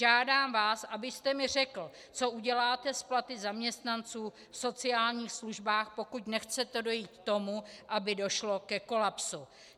Žádám vás, abyste mi řekl, co uděláte s platy zaměstnanců v sociálních službách, pokud nechcete dojít k tomu, aby došlo ke kolapsu.